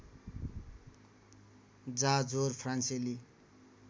जाँ जोर फ्रान्सेली